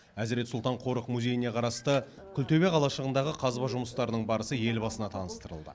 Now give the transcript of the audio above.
әзірет сұлтан қорық музейіне қарасты күлтөбе қалашығындағы қазба жұмыстарының барысы елбасына таныстырылды